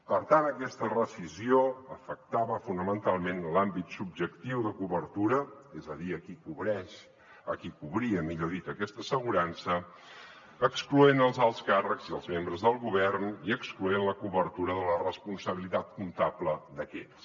per tant aquesta rescissió afectava fonamentalment l’àmbit subjectiu de cobertura és a dir a qui cobreix a qui cobria millor dit aquesta assegurança excloent ne els alts càrrecs i els membres del govern i excloent ne la cobertura de la responsabilitat comptable d’aquests